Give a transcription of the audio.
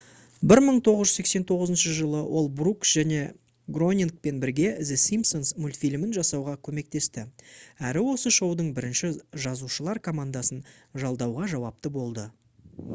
1989 жылы ол брукс және гронингпен бірге the simpsons мультфильмін жасауға көмектесті әрі осы шоудың бірінші жазушылар командасын жалдауға жауапты болды